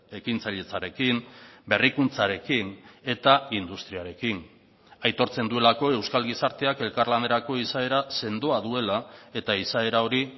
ekintzailetzarekin berrikuntzarekin eta industriarekin aitortzen duelako euskal gizarteak elkarlanerako izaera sendoa duela eta izaera hori